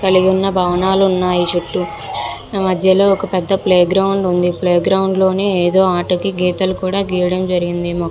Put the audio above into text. కలిగున్న భావనాలు ఉన్నాయి చుట్టూ మధ్యలో ఒక పెద్ద ప్లే గ్రౌండ్ ఉంది ప్లే గ్రౌండ్ లోనే ఎదో ఆటకి గీతలు కూడా గియ్యడం జరిగింది --